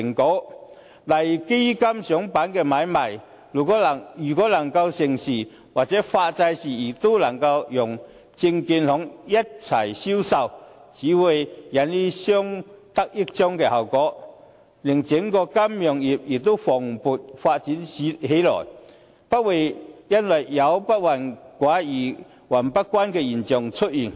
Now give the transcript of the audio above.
舉例來說，如果基金上板買賣能夠成事，或發債的時候能夠讓證券行一起銷售，只會起到相得益彰的效果，令整個金融業蓬勃發展起來，不會有"不患寡而患不均"的現象出現。